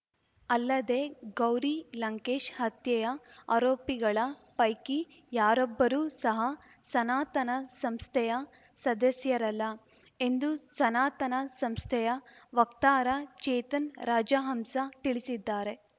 ಅಲ್ಲದೆ ಗೌರಿ ಲಂಕೇಶ್‌ ಹತ್ಯೆಯ ಆರೋಪಿಗಳ ಪೈಕಿ ಯಾರೊಬ್ಬರೂ ಸಹ ಸನಾತನ ಸಂಸ್ಥೆಯ ಸದಸ್ಯರಲ್ಲ ಎಂದು ಸನಾತನ ಸಂಸ್ಥೆಯ ವಕ್ತಾರ ಚೇತನ್‌ ರಾಜಹಂಸ ತಿಳಿಸಿದ್ದಾರೆ